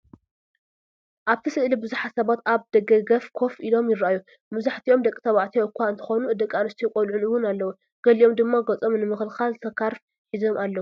ኣብቲ ስእሊ ብዙሓት ሰባት ኣብ ደገ ኮፍ ኢሎም ይረኣዩ። መብዛሕትኦም ደቂ ተባዕትዮ እኳ እንተኾኑ፡ ደቂ ኣንስትዮን ቆልዑን እውን ኣለዉ። ገሊኦም ድማ ገጾም ንምክልኻል ስካርፍ ሒዞም ኣለዉ።